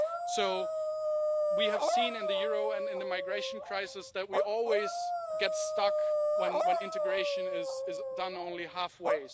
So we have seen in the euro and in the migration crisis that we always get stuck when integration is done only half way.